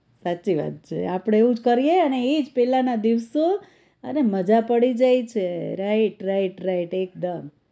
સાચી વાત છે આપણે એવું જ કરીએ અને ઈ જ પેલાના દિવસો ને મજા પડી જાય છે right right right એકદમ